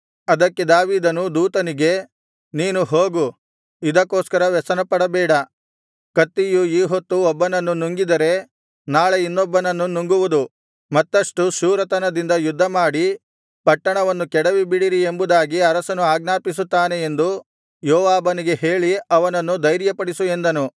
ಅದಕ್ಕೆ ದಾವೀದನು ದೂತನಿಗೆ ನೀನು ಹೋಗು ಇದಕ್ಕೋಸ್ಕರ ವ್ಯಸನಪಡಬೇಡ ಕತ್ತಿಯು ಈ ಹೊತ್ತು ಒಬ್ಬನನ್ನು ನುಂಗಿದರೆ ನಾಳೆ ಇನ್ನೊಬ್ಬನನ್ನು ನುಂಗುವುದು ಮತ್ತಷ್ಟು ಶೂರತನದಿಂದ ಯುದ್ಧಮಾಡಿ ಪಟ್ಟಣವನ್ನು ಕೆಡವಿಬಿಡಿರಿ ಎಂಬುದಾಗಿ ಅರಸನು ಆಜ್ಞಾಪಿಸುತ್ತಾನೆ ಎಂದು ಯೋವಾಬನಿಗೆ ಹೇಳಿ ಅವನನ್ನು ಧೈರ್ಯಪಡಿಸು ಎಂದನು